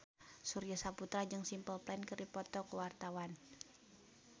Surya Saputra jeung Simple Plan keur dipoto ku wartawan